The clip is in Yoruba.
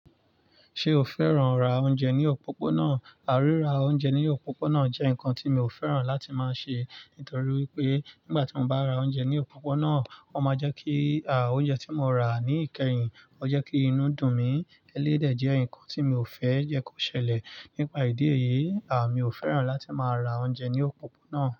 Ṣé o fẹ́ràn rá oúnjẹ ní òpópónà? Ríra oúnjẹ ní òpópónà jẹ́ nǹkan tí mi ò fẹ́ràn láti máa ṣe; nítorí wipé nígbà tí mo bá ra oúnjẹ ní òpópónà, o máa jẹ́ kí, oúnjẹ tí mo rà ní ìkẹyìn, o jẹ́ kí inú dùn mí eléyi dè jẹ́ nǹkan tí mi ò fẹ́ jẹ́ kó ṣẹlẹ̀. Nípa ìdí èyí, mi ò fẹ́ràn láti máa ra oúnjẹ ní òpópónà.